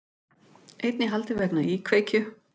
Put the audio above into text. Einn í haldi vegna íkveikju